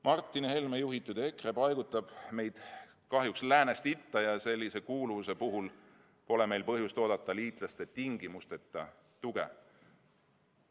Martin Helme juhitud EKRE paigutab meid kahjuks läänest itta ja sellise kuuluvuse puhul pole meil põhjust oodata liitlaste tingimusteta tuge.